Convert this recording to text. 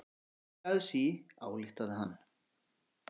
Óveður í aðsigi, ályktaði hann.